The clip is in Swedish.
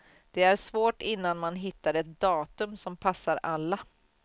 Det är svårt innan man hittar ett datum som passar alla.